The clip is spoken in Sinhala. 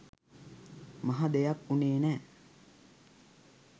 මහ දෙයක් උනේ නෑ